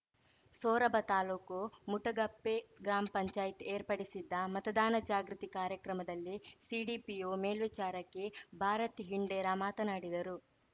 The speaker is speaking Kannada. ಸೊರಬ ತಾಲೂಕು ಮುಟಗುಪ್ಪೆ ಗ್ರಾಮ್ ಪಂಚಾಯ್ತಿ ಏರ್ಪಡಿಸಿದ್ದ ಮತದಾನ ಜಾಗೃತಿ ಕಾರ್ಯಕ್ರಮದಲ್ಲಿ ಸಿಡಿಪಿಒ ಮೇಲ್ವಿಚಾರಕಿ ಭಾರತಿ ಹಿಂಡೇರಾ ಮಾತನಾಡಿದರು